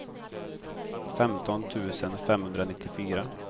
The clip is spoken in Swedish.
femton tusen femhundranittiofyra